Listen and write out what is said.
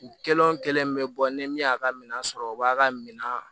Kelen wo kelen be bɔ ni min y'a ka minɛn sɔrɔ o b'a ka minan